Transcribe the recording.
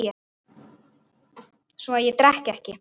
Svo að ég drekk ekki.